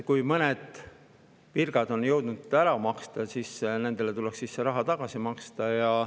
Kui mõned virgad on jõudnud ära maksta, siis nendele tuleks see raha tagasi maksta.